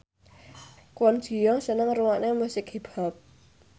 Kwon Ji Yong seneng ngrungokne musik hip hop